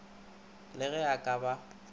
le ge e ka ba